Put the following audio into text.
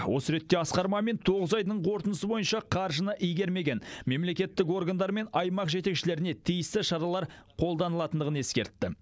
осы ретте асқар мамин тоғыз айдың қорытындысы бойынша қаржыны игермеген мемлекеттік органдар мен аймақ жетекшілеріне тиісті шаралар қолданылатындығын ескертті